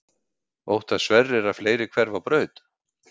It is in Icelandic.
Óttast Sverrir að fleiri hverfi á braut?